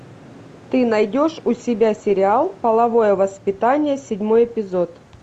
ты найдешь у себя сериал половое воспитание седьмой эпизод